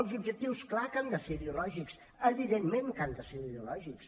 els objectius clar que han de ser ideològics evidentment que han de ser ideològics